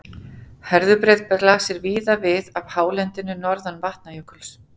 Herðubreið blasir víða við af hálendinu norðan Vatnajökuls.